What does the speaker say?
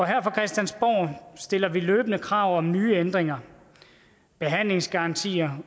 her fra christiansborg stiller vi løbende krav om nye ændringer behandlingsgarantier